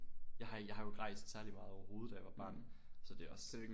Jeg har jeg har jo ikke rejst særligt meget overhovedet da jeg var barn så det også